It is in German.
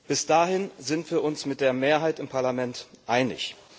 Bis dahin sind wir uns mit der Mehrheit im Parlament einig.